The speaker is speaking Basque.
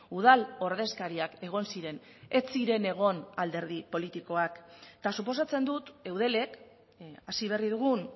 udal ordezkariak egon ziren ez ziren egon alderdi politikoak eta suposatzen dut eudelek hasi berri dugun